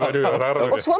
svo